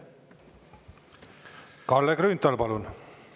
Kalle Grünthal, palun!